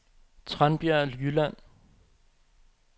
Tranbjerg Jylland